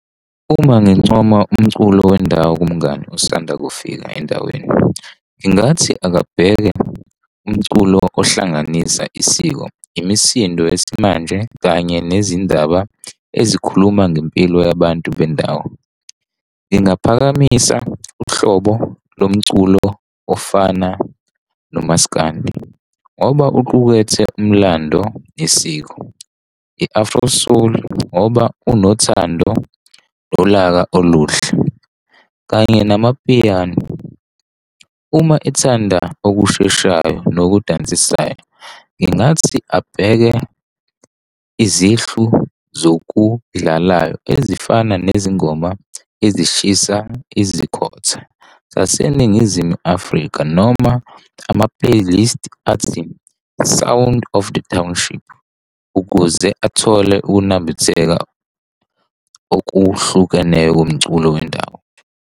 Uma ngincoma umculo wendawo kumngani osanda kufika endaweni, ngingathi akabheke umculo ohlanganisa isiko, imisindo yesimanje kanye nezindaba ezikhuluma ngempilo yabantu bendawo. Ngingaphakamisa uhlobo lomculo ofana nomaskandi, ngoba uqukethe umlando, isiko. I-afro-soul ngoba unothando nolaka oluhle kanye namapiyani. Uma ethanda okusheshayo nokudansisayo, ngingathi abheke izihlu zokudlalayo ezifana nezingoma ezishisa ezikhotha zaseNingizimu Afrika noma ama-playlist athi Sound of the Township ukuze athole ukunambitheka okuhlukeneyo komculo wendawo.